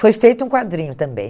Foi feito um quadrinho também.